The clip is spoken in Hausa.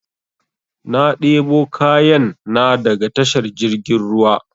Na debo kayan na daga tashar jirgin ruwa